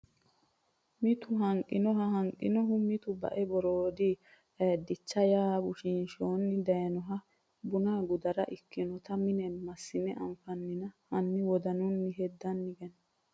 mitu Hanqinohu Hanqinohu mitu bae Boroodi Aaddicha ya bushiinshona daynohu buna gudara ikkinota mine massine anfannina hanni wodanunni hedanni gani !